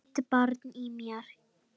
Mitt barn í mér.